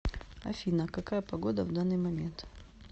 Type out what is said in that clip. афина какая погода в данный момент